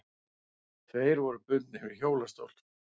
Tveir voru bundnir við hjólastól.